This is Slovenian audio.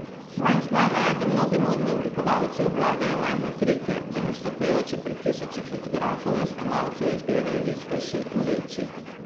Manj znano je, da mnogi modni oblikovalci obvladajo majhne trike, da nastopajoči pred tisoči fotografov in snemalcev izgledajo vitkejši in večji.